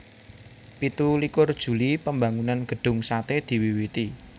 Pitu likur Juli Pambangunan Gedung Sate diwiwiti